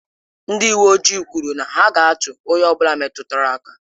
Ndị uwe ojii kwuru na ya ga-atụ onye ọ bụla metụtara aka.